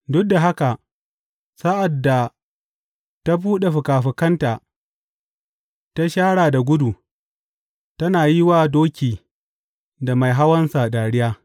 Duk da haka sa’ad da ta buɗe fikafikanta ta shara da gudu tana yi wa doki da mai hawansa dariya.